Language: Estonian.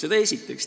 Seda esiteks.